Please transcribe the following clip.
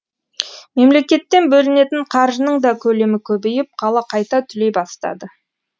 мемлекеттен бөлінетін қаржының да көлемі көбейіп қала қайта түлей бастады